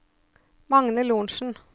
Magne Lorentsen